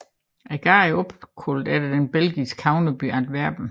Gaden er opkaldt efter den belgiske havneby Antwerpen